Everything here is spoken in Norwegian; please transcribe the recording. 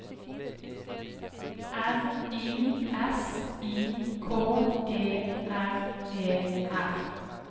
R I S I K E R E R